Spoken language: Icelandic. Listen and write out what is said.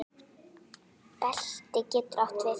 Belti getur átt við